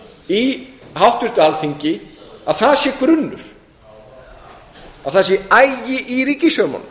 í háttvirtu alþingi að það sé grunnur að það sé agi í ríkisfjármálum